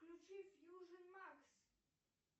включи фьюжн макс